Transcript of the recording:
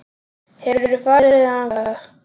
Hefurðu farið þangað?